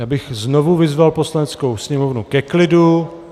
Já bych znovu vyzval Poslaneckou sněmovnu ke klidu.